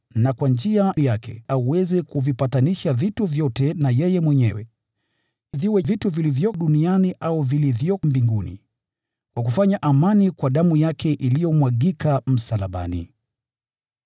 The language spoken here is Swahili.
na kwa njia yake aweze kuvipatanisha vitu vyote na yeye mwenyewe, viwe ni vitu vilivyo duniani au vilivyo mbinguni, kwa kufanya amani kwa damu yake, iliyomwagika msalabani.